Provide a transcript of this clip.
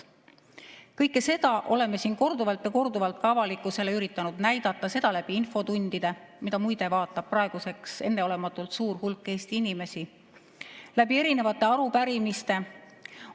Kõike seda oleme siin korduvalt ja korduvalt ka avalikkusele üritanud näidata, seda infotundide kaudu, mida praeguseks vaatab muide enneolematult suur hulk Eesti inimesi, ja erinevate arupärimiste kaudu.